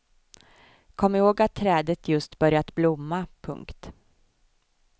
Kom ihåg att trädet just börjat blomma. punkt